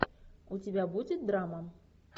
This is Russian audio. у тебя будет драма